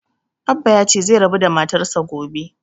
Abbah ya ce zai rabu da matar sa gobe